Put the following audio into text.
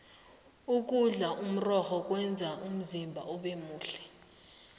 ukudla imirorho kwenza umzimba ubemuhle